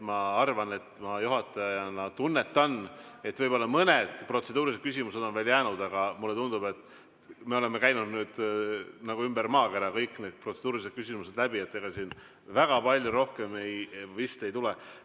Ma arvan ja juhatajana tunnetan, et võib-olla mõned protseduurilised küsimused on veel jäänud, aga mulle tundub, et me oleme käinud nagu ümber maakera, kõik need protseduurilised küsimused läbi, ega siin väga palju rohkem vist ei tule.